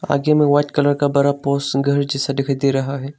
आगे में white colour का बड़ा पोस घर जैसा दिखाई दे रहा है।